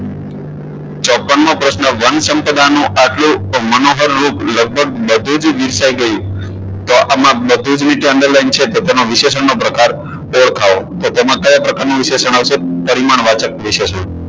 ચોપન મો પ્રશ્ન વનસંપદા નું આટલું મનોહર રૂપ લગભગ બધું જ વિસરાઈ ગયું તો આમાં બધું જ નીચે underline છે તેનો વિશેષણ નો પ્રકાર ઓળખાવો તો તેમાં કયા પ્રકારનું વિશેષણ આવશે તો સન્માન વાચક વિશેષણ